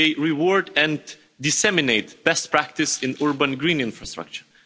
They reward and disseminate best practice in urban green infrastructure.